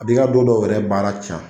A b'i ka don dɔw yɛrɛ baara can.